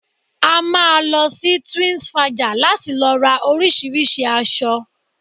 A máa lọ sí Twinsfaja láti lọ ra oríṣìíríṣìí aṣọ